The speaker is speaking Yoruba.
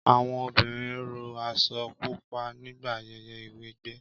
Àwọn obìnrin ró aṣọ pupa nígbà ayẹyẹ ìwẹgbẹ́